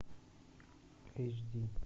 эйч ди